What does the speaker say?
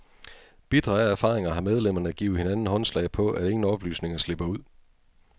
Bitre af erfaringer har medlemmerne givet hinanden håndslag på, at ingen oplysninger slipper ud.